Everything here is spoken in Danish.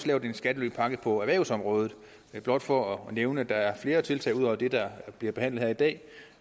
lavet en skattelypakke på erhvervsområdet det er blot for at nævne at der er flere tiltag ud over det der bliver behandlet i dag